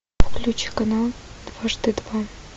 включи канал дважды два